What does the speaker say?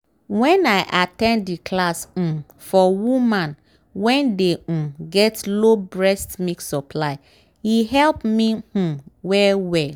wen i at ten d the class um for woman wen dey um get low breast milk supply e help me um well well